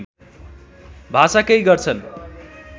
भाषा कै गर्छन्